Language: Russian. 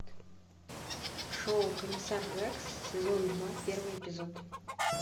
шоу комиссар рекс сезон два первый эпизод